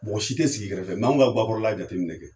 Mɔgɔ si tɛ sigi i kɛrɛfɛ, mɛ an ka gakɔrɔ la jateminɛ kɛ,